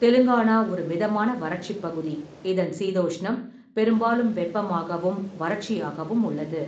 தெலுங்கானா ஒரு மிதமான வறட்சிப் பகுதி, இதன் சீதோஷ்ணம் பெரும்பாலும் வெப்பமாகவும் வறட்சியாகவும் உள்ளது.